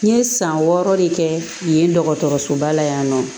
N ye san wɔɔrɔ de kɛ yen dɔgɔtɔrɔsoba la yan nɔ